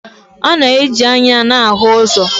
A na-eji anya na-ahụ ụzọ.